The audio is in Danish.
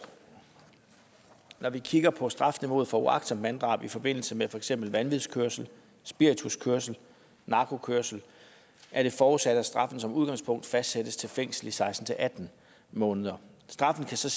når vi kigger på strafniveauet for uagtsomt manddrab i forbindelse med for eksempel vanvidskørsel spirituskørsel narkokørsel er det forudsat at straffen som udgangspunkt fastsættes til fængsel i seksten til atten måneder straffen kan så